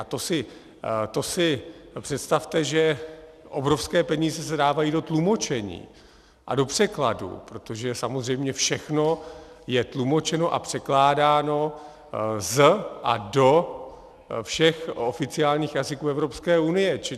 A to si představte, že obrovské peníze se dávají do tlumočení a do překladů, protože samozřejmě všechno je tlumočeno a překládáno z a do všech oficiálních jazyků Evropské unie.